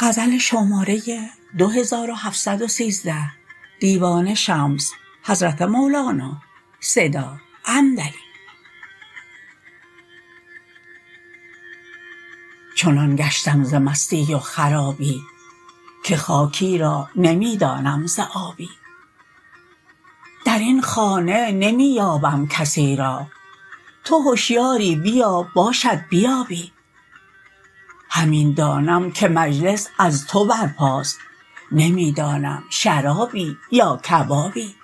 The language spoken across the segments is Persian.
چنان گشتم ز مستی و خرابی که خاکی را نمی دانم ز آبی در این خانه نمی یابم کسی را تو هشیاری بیا باشد بیابی همین دانم که مجلس از تو برپاست نمی دانم شرابی یا کبابی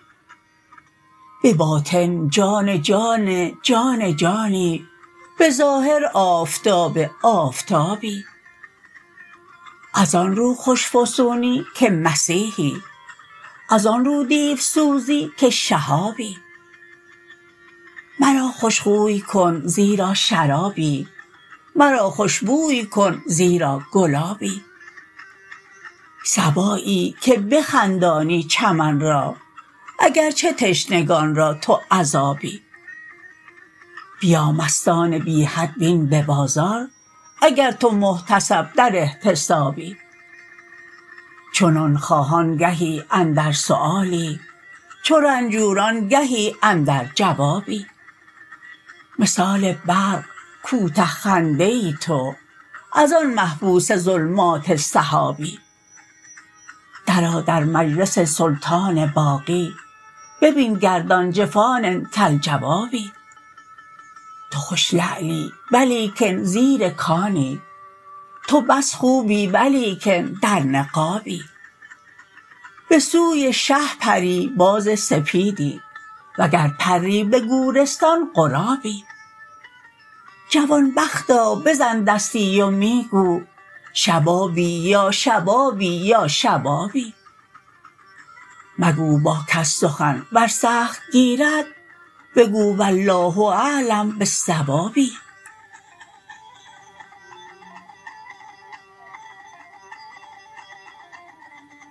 به باطن جان جان جان جانی به ظاهر آفتاب آفتابی از آن رو خوش فسونی که مسیحی از آن رو دیوسوزی که شهابی مرا خوش خوی کن زیرا شرابی مرا خوش بوی کن زیرا گلابی صبایی که بخندانی چمن را اگر چه تشنگان را تو عذابی بیا مستان بی حد بین به بازار اگر تو محتسب در احتسابی چو نان خواهان گهی اندر سؤالی چو رنجوران گهی اندر جوابی مثال برق کوته خنده تو از آن محبوس ظلمات سحابی درآ در مجلس سلطان باقی ببین گردان جفان کالجوابی تو خوش لعلی ولیکن زیر کانی تو بس خوبی ولیکن در نقابی به سوی شه پری باز سپیدی وگر پری به گورستان غرابی جوان بختا بزن دستی و می گو شبابی یا شبابی یا شبابی مگو با کس سخن ور سخت گیرد بگو والله اعلم بالصواب